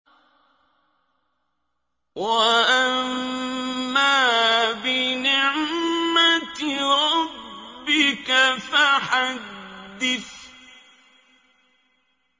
وَأَمَّا بِنِعْمَةِ رَبِّكَ فَحَدِّثْ